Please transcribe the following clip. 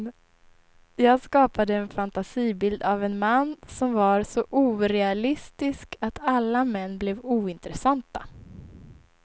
Jag skapade en fantasibild av en man som var så orealistisk att alla män blev ointressanta.